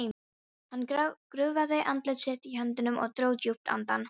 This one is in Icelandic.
Hann grúfði andlit sitt í höndunum og dró djúpt andann.